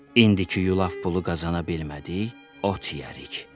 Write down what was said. indiki yulaf pulu qazana bilmədik, ot yeyərik.